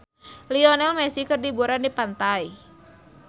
Lionel Messi keur liburan di pantai